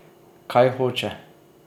Kaj hoče?